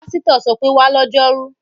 Pásítọ̀ ṣọ pé, 'wá lọ́jọ́rú!'